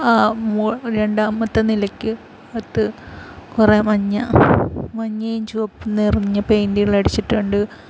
ആഹ് മോ രണ്ടാമത്തെ നെലക്ക് അകത്ത് കൊറേ മഞ്ഞ മഞ്ഞയും ചുവപ്പും നിറഞ്ഞ പെയിൻ്റുകളടിച്ചിട്ടുണ്ട് .